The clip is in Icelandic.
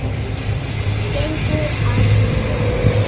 Gengur að mér.